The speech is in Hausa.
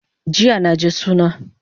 Jiya naje suna